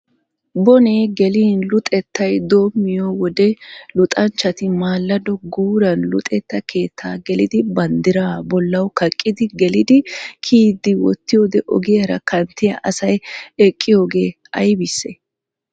Bone gelin Luxettay dommiyo wode luxanchchati maallado guuran Luxetta keettaa gelidi bandiraa bollawu kaqqidi gelidi kiyiiddi wottiyoode ogiyaara kanttiya asay eqqiyoogee ayibissee?